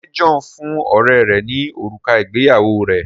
ṣe John fún ọrẹ rè ní òrùka ìgbéyàwó rẹ?